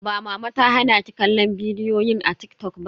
Ba mama ta hana ki kallon bidiyoyin a TikTok ba?